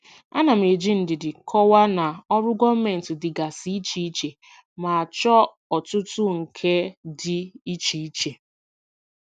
Ana m eji ndidi kọwaa na ọrụ gọọmentị dịgasị iche iche ma chọọ ọtụtụ nka dị iche iche.